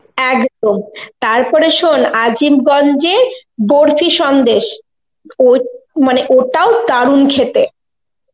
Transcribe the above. একদম তারপরে শোন আজিমগন্জে বরফি সন্দেশ ও~ মানে ওটাও দারুন খেতে.